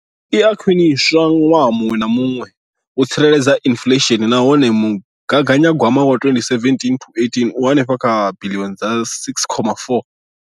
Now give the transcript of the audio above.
Iyi i a khwiniswa ṅwaha muṅwe na muṅwe u tsireledza inflesheni nahone mugaganya gwama wa 2017,18 u henefha kha biḽioni dza R6.4.